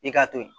I k'a to yen